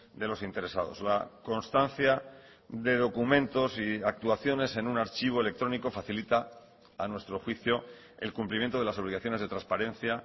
de los interesados la constancia de documentos y actuaciones en un archivo electrónico facilita a nuestro juicio el cumplimiento de las obligaciones de transparencia